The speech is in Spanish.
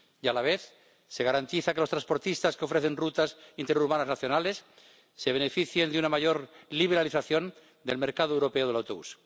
Y a la vez, se garantiza que los transportistas que ofrecen rutas interurbanas nacionales se beneficien de una mayor liberalización del mercado europeo del autobús.